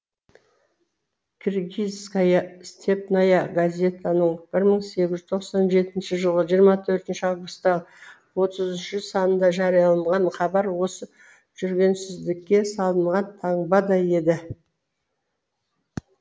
киргизская степная газетаның бір мың сегіз жүз тоқсан жетінші жылғы жиырма төртінші августағы отыз үшінші санында жарияланған хабар осы жүргенсіздікке салынған таңбадай еді